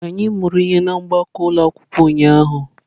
Anyị mụrụ ihe na gbakọọ ụlọ akwụkwọ ụnyahụ.